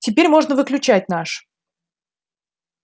теперь можно выключать наш